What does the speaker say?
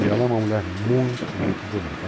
E ela é uma mulher muito, muito bonita.